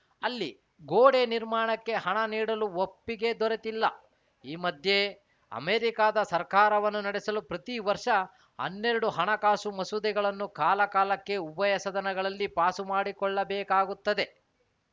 ಅಲ್ಲಿ ಗೋಡೆ ನಿರ್ಮಾಣಕ್ಕೆ ಹಣ ನೀಡಲು ಒಪ್ಪಿಗೆ ದೊರೆತಿಲ್ಲ ಈ ಮಧ್ಯೆ ಅಮೆರಿಕದ ಸರ್ಕಾರವನ್ನು ನಡೆಸಲು ಪ್ರತಿ ವರ್ಷ ಹನ್ನೆರಡು ಹಣಕಾಸು ಮಸೂದೆಗಳನ್ನು ಕಾಲಕಾಲಕ್ಕೆ ಉಭಯ ಸದನಗಳಲ್ಲಿ ಪಾಸು ಮಾಡಿಕೊಳ್ಳಬೇಕಾಗುತ್ತದೆ